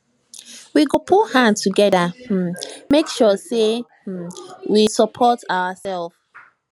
we go put hand together um make sure sey um we support oursef